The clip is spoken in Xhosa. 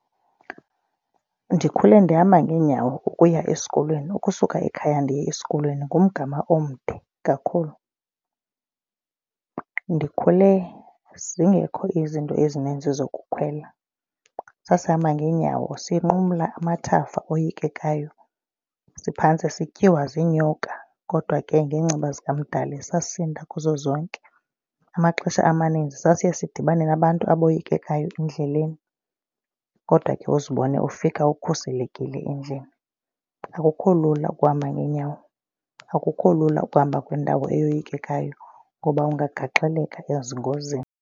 Ndikhule ndihamba ngeenyawo ukuya esikolweni. Ukusuka ikhaya ndiye esikolweni ngumgama omde kakhulu. Ndikhule zingekho izinto ezininzi zokukhwela sasihamba ngeenyawo sinqumla amathafa oyikekayo siphantss sityiwe zinyoka. Kodwa ke ngenceba zikaMdali sasinda kuzo zonke. Amaxesha amaninzi sasiye sidibane nabantu aboyikekayo endleleni kodwa ke uzibone ufika ukhuselekile endlini. Akukho lula ukuhamba ngeenyawo akukho lula ukuhamba kwiindawo eyoyikekayo ngoba ungagaxeleka ezingozini.